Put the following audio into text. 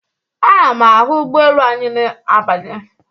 Ana m ahụ ụgbọelu anyị na-abanye.